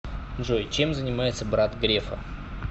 джой чем занимается брат грефа